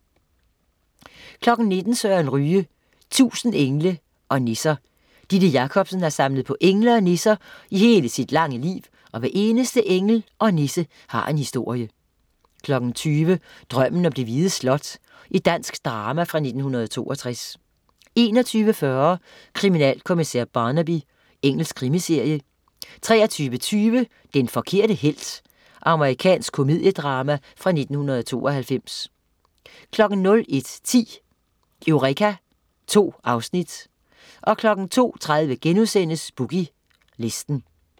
19.00 Søren Ryge. 1000 engle og nisser. Didde Jakobsen har samlet på engle og nisser i hele sit lange liv, og hver eneste engel og nisse har en historie 20.00 Drømmen om det hvide slot. Dansk drama fra 1962 21.40 Kriminalkommissær Barnaby. Engelsk krimiserie 23.20 Den forkerte helt. Amerikansk komediedrama fra 1992 01.10 Eureka 2 afsnit 02.30 Boogie Listen*